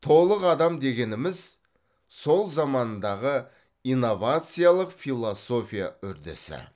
толық адам дегеніміз сол замандағы инновациялық философия үрдісі